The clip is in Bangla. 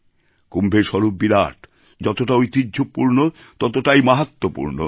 কুম্ভের স্বরূপ বিরাট যতটা ঐতিহ্যপূর্ণ ততটাই মাহাত্ম্যপূর্ণ